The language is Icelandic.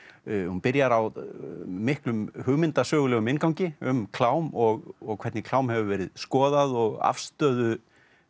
hún byrjar á miklum inngangi um klám og og hvernig klám hefur verið skoðað og afstöðu